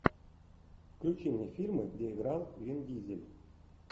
включи мне фильмы где играл вин дизель